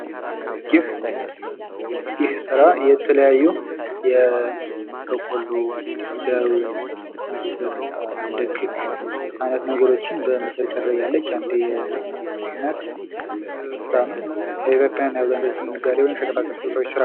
ይህ ስራ የተለያዩ በቆሎ፥ ለሩዝ፥ ምስር፥ እንደክክ አይነት ነገሮችን በመቸርቸር ላይ ያለች የአንዲት እናት ስራ ነው። ያው በኢትዮጵያ የአብዛኞቹ ነጋዴዎች የሸቀጣሸቀጥ ስራ ነው።